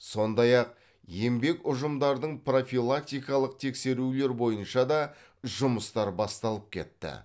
сондай ақ еңбек ұжымдардың профилактикалық тексерулер бойынша да жұмыстар басталып кетті